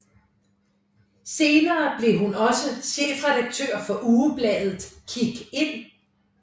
Senere blev hun også chefredaktør for ugebladet Kig Ind